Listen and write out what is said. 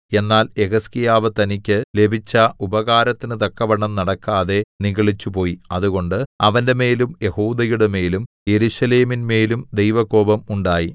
എന്നാൽ യെഹിസ്കീയാവ് തനിക്ക് ലഭിച്ച ഉപകാരത്തിന് തക്കവണ്ണം നടക്കാതെ നിഗളിച്ചുപോയി അതുകൊണ്ട് അവന്റെമേലും യെഹൂദയുടെമേലും യെരൂശലേമിന്മേലും ദൈവകോപം ഉണ്ടായി